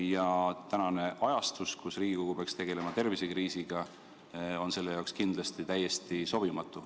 Ja praegune ajastus, kuivõrd Riigikogu peaks tegelema eelkõige tervisekriisiga, on selleks kindlasti täiesti sobimatu.